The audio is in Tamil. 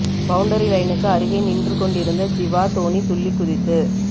பவுண்டரி லைனுக்கு அருகே நின்று கொண்டிருந்த ஜிவா தோனி துள்ளி குதித்து